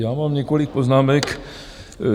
Já mám několik poznámek.